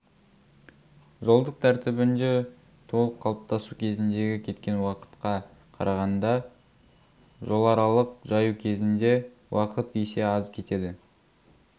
жолдық тәртібінде толық қалыптасу кезіндегі кеткен уақытқа қарағанда жоларалық жаю кезінде уақыт есе аз кетеді